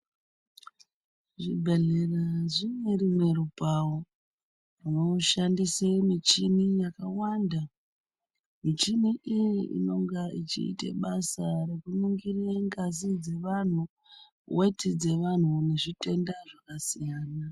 Zvibhedhlera zvine rumwe rupavo runoshandise michini yakawanda. Michini iyi inonga ichiite basa rekuningirire ngazi dzevantu, veti dzevantu nezvitenda zvakasiyana.